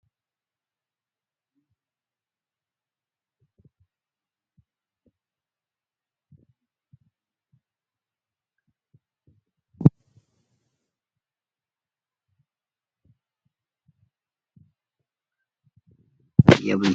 Inni suuraa irratti muldhatu kun Hayilasillaasee jedhama. mootummaa itoophiyaa kan tureedha. Hayilasillaaseen bifti isaa diimaafi mootummaa yeroo jelqabaatiif itoophiyaa keesaatti heera bara 1931 baaseedha. Akkasumas seena itoophiyaa keesaatti mootummaa woggaa 44 biyya bulcheedha.